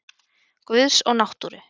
Guðs og náttúru.